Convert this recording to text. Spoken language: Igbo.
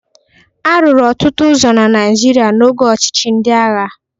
A rụrụ ọtụtụ ụzọ na Naịjirịa n'oge ọchịchị ndị agha.